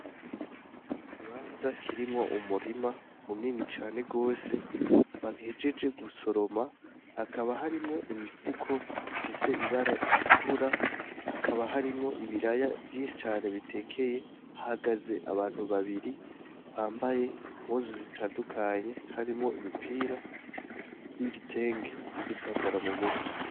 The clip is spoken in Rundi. Ikibanza kirimwo umurima mu nini cane gose bagihejeje gusoroma, hakaba harimo imifuko ifise ibara ritukura, hakaba harimo ibiraya vyinshi cane bitekeye, hahagaze abantu babiri bambaye impuzu zitandukanye harimwo imipira n'igitenge n'igitambara mu mutwe.